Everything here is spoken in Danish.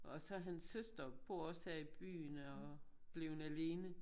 Og så hans søster bor også her i byen og er bleven alene